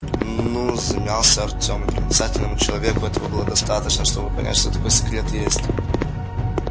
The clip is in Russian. н-ну замялся артем и проницательному человеку этого было бы достаточно чтобы понять что такой секрет есть